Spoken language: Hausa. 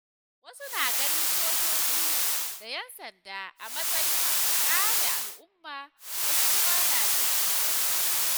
Wasu na ganin sojoji da ‘yan sanda a matsayin masu kare al’umma, wasu kuma na jin tsoronsu.